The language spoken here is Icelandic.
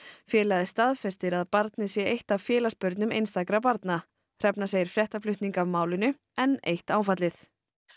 félagið staðfestir að barnið sé eitt af félagsbörnum einstakra barna hrefna segir fréttaflutning af málinu enn eitt áfallið